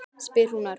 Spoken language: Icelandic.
spyr hún örg.